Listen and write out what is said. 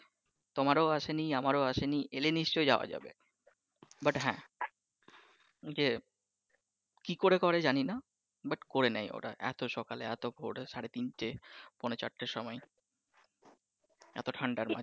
তোমার ও আসেনি আমার ও আসেনি, এলে নিশ্চই যাওয়া যাবে but হ্যাঁ ঐযে কি করে করে জানিনা but করে নেয় ওরা এতো সকালে এতো ভোরে সাড়ে তিনটে পোনে চারটের সময় এতো ঠান্ডার মাঝে।